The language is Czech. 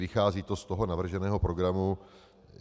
Vychází to z toho navrženého programu.